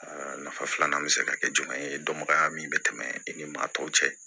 Aa nafa filanan bɛ se ka kɛ jumɛn ye dɔnbagaya min bɛ tɛmɛ i ni maa tɔw cɛ